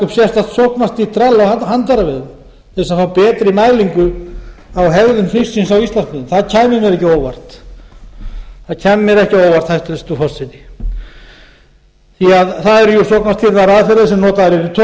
til að fá betri mælingu á hegðun fisksins á íslandsmiðum það kæmi mér ekki á óvart hæstvirtur forseti því að það eru sóknarstýrðar aðferðir sem notaðar eru á togurunum og það